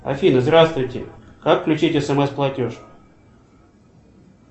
афина здравствуйте как включить смс платеж